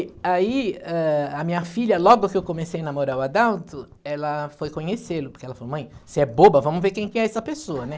Aí, ãh, a minha filha, logo que eu comecei a namorar o Adalto, ela foi conhecê-lo, porque ela falou, mãe, você é boba, vamos ver quem que é essa pessoa, né?